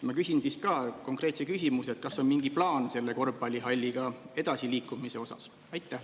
Ma küsin konkreetse küsimuse: kas on mingi plaan selle korvpallihalliga edasi liikuda?